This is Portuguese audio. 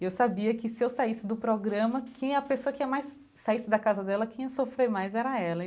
Eu sabia que se eu saísse do programa, quem a pessoa que ia mais saísse da casa dela, quem ia sofrer mais era ela.